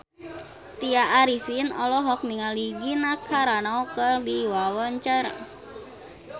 Tya Arifin olohok ningali Gina Carano keur diwawancara